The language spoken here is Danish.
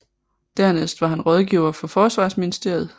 Dernæst var han rådgiver for forsvarsministeriet